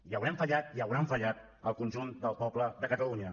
i haurem fallat i hauran fallat al conjunt del poble de catalunya